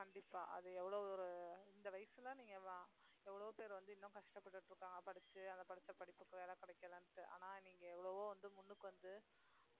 கண்டிப்பா அது எவ்வளவு ஒரு இந்த வயசுல நீங்க எவ்வளவோ பேர் வந்து இன்னும் கஷ்டப்பட்டுட்டு இருக்காங்க படிச்சு அதை படிச்ச படிப்புக்கு வேலை கிடைக்கலைன்ட்டு ஆனா நீங்க எவ்வளவோ வந்து முன்னுக்கு வந்து